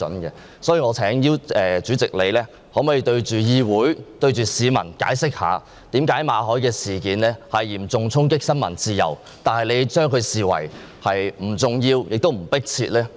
因此，我想請主席向各位議員及市民解釋一下，為何馬凱事件嚴重衝擊新聞自由，但你卻視之為不重要、不迫切呢？